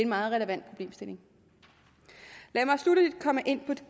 meget relevant problemstilling lad mig sluttelig komme ind